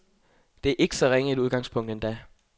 Det er ikke så ringe et udgangspunkt endda.